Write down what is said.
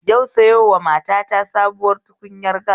Yau sayowa matata sabuwar tukunyar gas